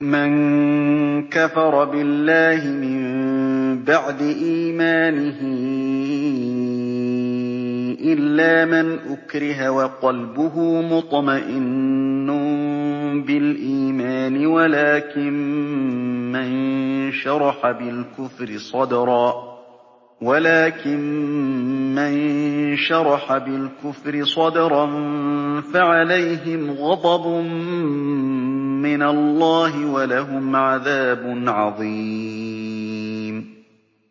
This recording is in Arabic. مَن كَفَرَ بِاللَّهِ مِن بَعْدِ إِيمَانِهِ إِلَّا مَنْ أُكْرِهَ وَقَلْبُهُ مُطْمَئِنٌّ بِالْإِيمَانِ وَلَٰكِن مَّن شَرَحَ بِالْكُفْرِ صَدْرًا فَعَلَيْهِمْ غَضَبٌ مِّنَ اللَّهِ وَلَهُمْ عَذَابٌ عَظِيمٌ